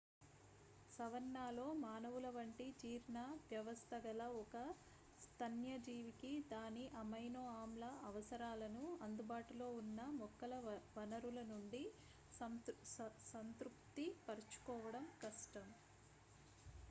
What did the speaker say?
savanna లో మానవుల వంటి జీర్ణ వ్యవస్థ గల ఒక స్తన్యజీవికి దాని అమైనో-ఆమ్ల అవసరాలను అందుబాటులో ఉన్న మొక్కల వనరుల నుండి సంతృప్తిపరచుకోవడం కష్టం